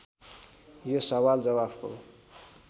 यो सवाल जवाफको